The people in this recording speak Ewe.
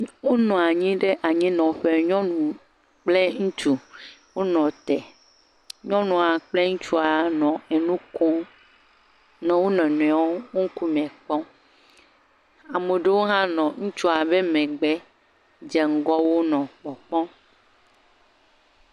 Wonɔ anyi ɖe anyinɔƒe nyɔnu kple ŋutsu wonɔ te. Nyɔnua kple ŋutsua nɔ enu kom nɔ wo nɔnɔewo ŋkume kpɔm. ame aɖewo hã nɔ ŋutsua ƒe megbe dze ŋgɔ wo nɔ kpɔkpɔm.